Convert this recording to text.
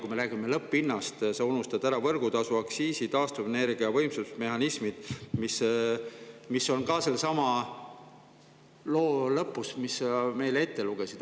Kui me räägime lõpphinnast, siis sa unustad ära võrgutasu, aktsiisi, taastuvenergia, võimsusmehhanismid, mis on ka sellesama loo lõpus, mis sa meile ette lugesid.